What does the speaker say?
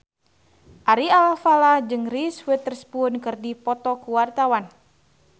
Ari Alfalah jeung Reese Witherspoon keur dipoto ku wartawan